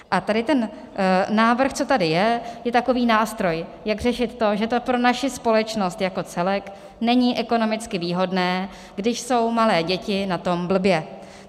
A tady ten návrh, co tady je, je takový nástroj, jak řešit to, že to pro naši společnost jako celek není ekonomicky výhodné, když jsou malé děti na tom blbě.